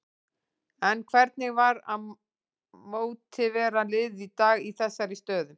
En hvernig var að mótivera liðið í dag í þessari stöðu?